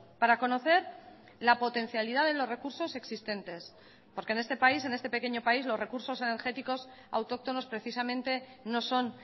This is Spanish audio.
para conocer la potencialidad de los recursos existentes porque en este país en este pequeño país los recursos energéticos autóctonos precisamente no son